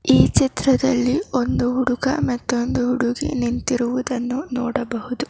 ಈ ಚಿತ್ರದಲ್ಲಿ ಒಂದು ಹುಡುಗ ಮತ್ತು ಒಂದು ಹುಡುಗಿ ನಿಂತಿರುವುದನ್ನು ನೋಡಬಹುದು.